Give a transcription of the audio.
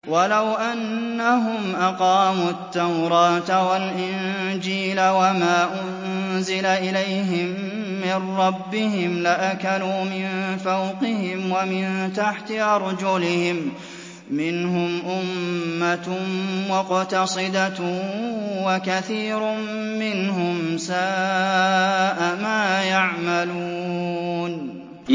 وَلَوْ أَنَّهُمْ أَقَامُوا التَّوْرَاةَ وَالْإِنجِيلَ وَمَا أُنزِلَ إِلَيْهِم مِّن رَّبِّهِمْ لَأَكَلُوا مِن فَوْقِهِمْ وَمِن تَحْتِ أَرْجُلِهِم ۚ مِّنْهُمْ أُمَّةٌ مُّقْتَصِدَةٌ ۖ وَكَثِيرٌ مِّنْهُمْ سَاءَ مَا يَعْمَلُونَ